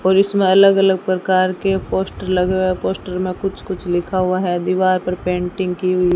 और इसमें अलग अलग प्रकार के पोस्टर लगे हुए हैं पोस्टर में कुछ कुछ लिखा हुआ है दीवार पर पेंटिंग की हुई --